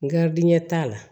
N garidiɲɛ t'a la